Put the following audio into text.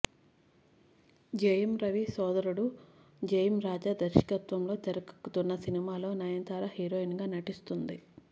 జయం రవి సోదరుడు జయం రాజా దర్శాకత్వంలో తెరకెక్కుతున్న సినిమాలో నయనతార హీరోయిన్ గా నటిస్తుంది